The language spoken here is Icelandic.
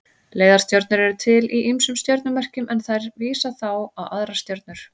Leiðarstjörnur eru til í ýmsum stjörnumerkjum en þær vísa þá á aðrar stjörnur.